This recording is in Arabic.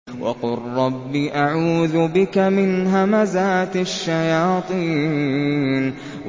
وَقُل رَّبِّ أَعُوذُ بِكَ مِنْ هَمَزَاتِ الشَّيَاطِينِ